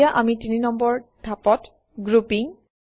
এতিয়া আমি ৩ নম্বৰ ধাপত - Grouping